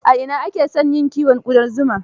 A ina ake son yin kiwon ƙudan zuma?